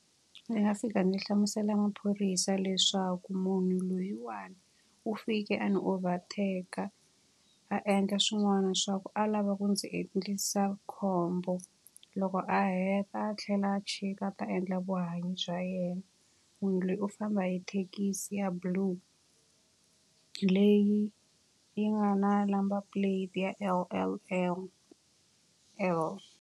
Ndzi nga fika ndzi hlamusela maphorisa leswaku munhu loyiwani u fike a ni overtake-a, a endla swin'wana leswaku a lava ku ndzi endlisa khombo. Loko a heta a tlhela a chika a ta endla vuhanyi bya yena. Munhu loyi u famba hi thekisi ya blue, leyi yi nga na number plate ya L_L_L_L.